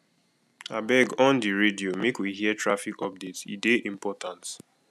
abeg on di radio make we hear traffic update e dey important